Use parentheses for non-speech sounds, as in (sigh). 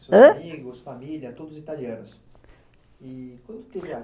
Os seus amigos, família, todos italianos, e (unintelligible)